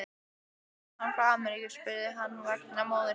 Hvenær kemur hann frá Ameríku, spurði hann vegna móður sinnar.